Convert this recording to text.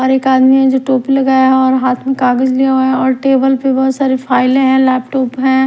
और एक आदमी है जो टोपी लगाया और हाथ में कागज लिया है और टेबल पे बहोत सारी फाइले है लैपटॉप है।